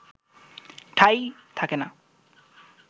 ঠাঁই থাকে না